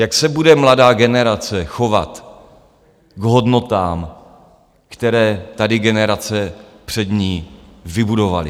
Jak se bude mladá generace chovat k hodnotám, které tady generace před ní vybudovaly?